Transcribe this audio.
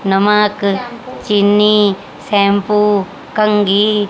नमक चीनी शैंपू कंगी--